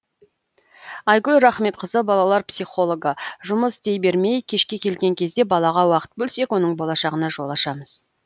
айгүл рахметқызы балалар психологы жұмыс істей бермей кешке келген кезде балаға уақыт бөлсек оның болашағына жол ашамыз